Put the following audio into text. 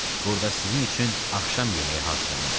Burada sizin üçün axşam yeməyi hazırlanıb.